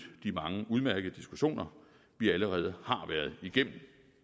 de mange udmærkede diskussioner vi allerede har været igennem